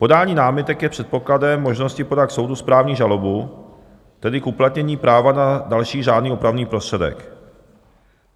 Podání námitek je předpokladem možnosti podat k soudu správní žalobu, tedy k uplatnění práva na další řádný opravný prostředek.